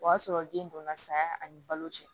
O y'a sɔrɔ den donna saya ani balo cɛ